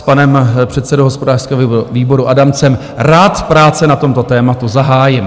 S panem předsedou hospodářského výboru Adamcem rád práce na tomto tématu zahájím.